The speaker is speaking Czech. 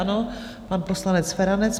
Ano, pan poslanec Feranec.